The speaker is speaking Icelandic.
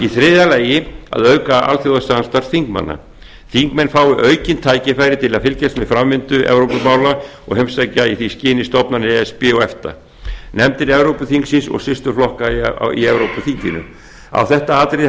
þriðja að auka alþjóðasamstarf þingmanna þingmenn fái aukin tækifæri til að fylgjast með framvindu evrópumála og heimsækja í því skyni stofnanir e s b og efta nefndir evrópuþingsins og systurflokka í evrópuþinginu á þetta atriði